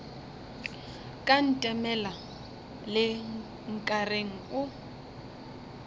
ka ntemela le nkareng o